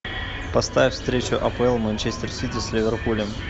поставь встречу апл манчестер сити с ливерпулем